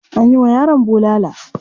Anyi wa yaron bulala.